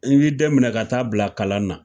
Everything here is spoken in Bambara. I b'i den minɛ ka taa bila kalan na